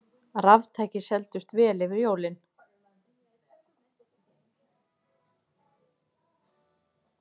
Raftæki seldust vel fyrir jólin